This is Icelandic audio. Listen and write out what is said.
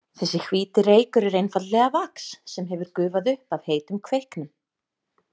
Þessi hvíti reykur er einfaldlega vax sem hefur gufað upp af heitum kveiknum.